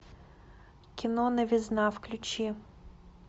кино новизна включи